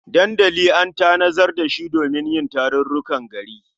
Dandali an tanadar da shi domin yin tarurrukan gari.